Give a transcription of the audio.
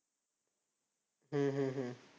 हम्म हम्म हम्म